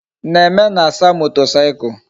Neme na-asa motorcycle